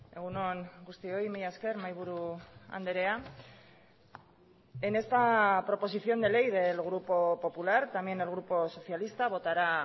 egun on guztioi mila esker mahai buru andrea en esta proposición de ley del grupo popular también el grupo socialista votará